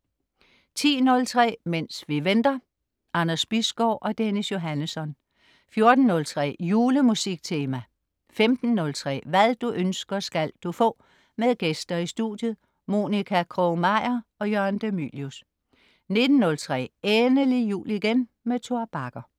10.03 Mens vi venter. Anders Bisgaard og Dennis Johannesson 14.03 Jule-musiktema 15.03 Hvad du ønsker, skal du få. Med gæster i studiet. Monica Krog-Meyer og Jørgen de Mylius 19.03 Endelig jul igen. Tor Bagger